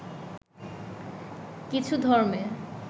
কিছু ধর্মে